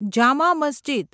Jama Masjid